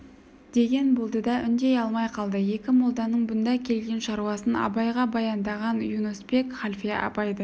деген болды да үндей алмай қалды екі молданың бұнда келген шаруасын абайға баяндаған юнуспек халфе абайды